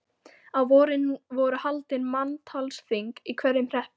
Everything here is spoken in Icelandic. Á vorin voru haldin manntalsþing í hverjum hreppi.